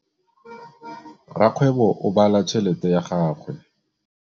Rakgwêbô o bala tšheletê ya gagwe.